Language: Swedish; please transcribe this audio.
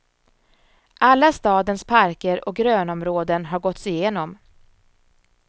Alla stadens parker och grönområden har gåtts igenom.